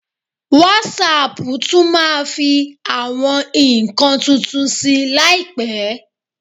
Wásaàpù tún máa fi àwọn nǹkan tuntun sí i láìpẹ́.